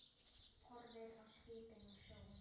Horfir á skipin og sjóinn.